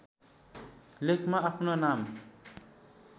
लेखमा आफ्नो नाम